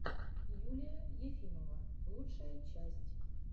юлия ефимова лучшая часть